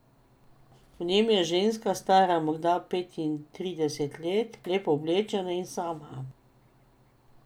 V njem je ženska, stara morda petintrideset let, lepo oblečena in sama.